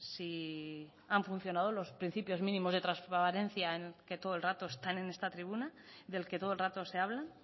si han funcionado los principios mínimos de transparencia en que todo el rato están en esta tribuna del que todo el rato se habla